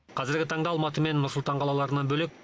қазіргі таңда алматы мен нұр сұлтан қалаларынан бөлек